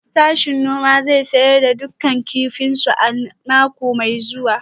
Sashen noma zai sayar da dukkan kifinsu a mako mai zuwa